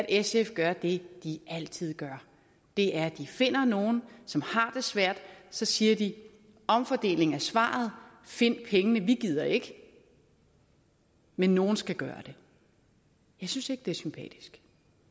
sf gør det de altid gør det er at de finder nogle som har det svært og så siger de omfordeling er svaret find pengene vi gider ikke men nogen skal gøre det jeg synes ikke det er sympatisk